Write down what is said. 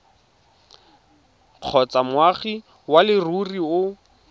kgotsa moagi wa leruri o